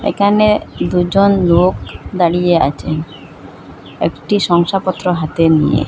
একানে দুজন লোক দাঁড়িয়ে আছেন একটি সংসাপত্র হাতে নিয়ে।